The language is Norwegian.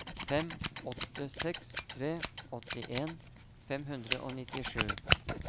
fem åtte seks tre åttien fem hundre og nittisju